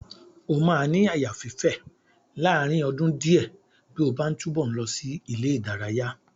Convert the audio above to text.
O máa ní àyà fífè láàárín ọdún díẹ̀ bí ó bá ń túbọ̀ ń lọ sí ilé-ìdaraya.